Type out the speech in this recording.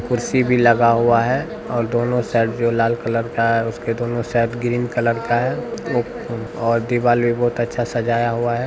कुर्सी भी लगा हुआ है और दोनों साइड जो लाल कलर का है उसके दोनों साइड ग्रीन कलर का है और दीवाल भी बहुत अच्छा सजाया हुआ है।